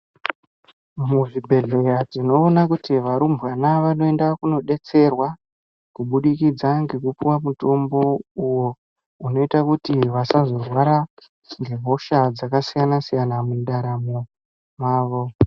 Muzvibhedhlera tinoona kuti varumbwana vanoenda kunodetserwa, kubudikidza ngekupuwa mutombo, uyo unoita kuti vasazorwara ,ngehosha dzakasiyana- siyana mundaramo mavo.